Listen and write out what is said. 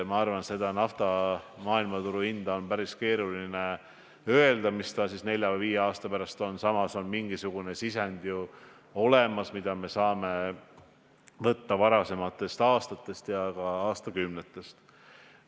Ma arvan, et on päris keeruline öelda, milline on nafta hind maailmaturul nelja-viie aasta pärast, samas mingisugune sisend on ju olemas ka varasematest aastatest ja aastakümnetest.